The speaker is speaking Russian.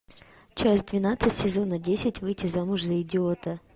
часть двенадцать сезона десять выйти замуж за идиота